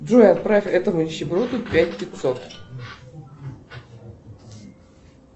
джой отправь этому нищеброду пять пятьсот